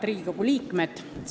Head Riigikogu liikmed!